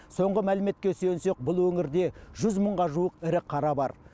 соңғы мәліметке сүйенсек бұл өңірде жүз мыңға жуық ірі қара бар